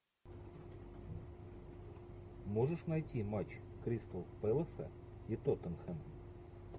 можешь найти матч кристал пэласа и тоттенхэм